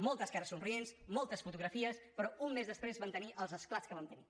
moltes cares somrients moltes fotografies però un mes després vam tenir els esclats que vam tenir